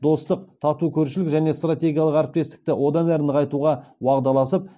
достық тату көршілік және стратегиялық әріптестікті одан әрі нығайтуға уағдаласып